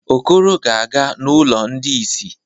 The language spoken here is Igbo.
Okoro ga-aga n’ụlọ ndị ìsì.